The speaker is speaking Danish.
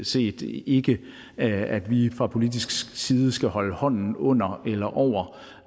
set ikke at vi fra politisk side skal holde hånden under eller over